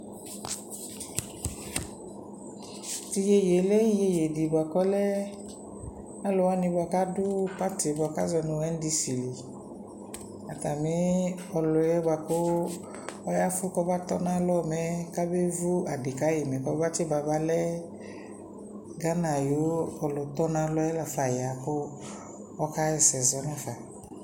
tʋ yɛyɛ lɛ yɛyɛ di bʋakʋ ɔlɛ alʋwani bʋakʋ adʋ party bʋakʋ azɔnʋ NDC li, atami ɔlʋɛ bʋakʋ ɔyaƒʋ kɔba tɔnʋ alɔ mɛ kabɛ vʋ adi kayi mɛ kɔma tsi ba balɛ Ghana ayʋ ɔlʋ tɔnʋ alɔɛ laƒa ɔya kʋ ɔkayɛsɛ nʋ aƒa